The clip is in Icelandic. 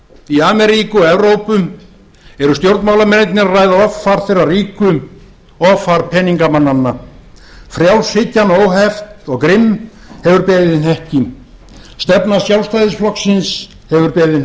í ameríku og evrópu eru stjórnmálamennirnir að ræða offar þeirra ríku offar peningingamanna frjálshyggjan óheft og grimm hefur beðið hnekki stefna sjálfstæðisflokksins hefur beðið